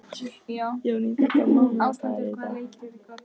Jónída, hvaða mánaðardagur er í dag?